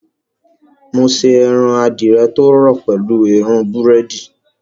Mo ṣe ẹran adìẹ tó rọ̀ pẹ̀lú èérún búrẹ́dì